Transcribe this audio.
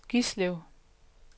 Gislev